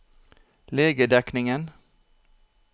legedekningen